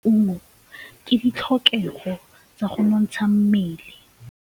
Go ja maungo ke ditlhokegô tsa go nontsha mmele.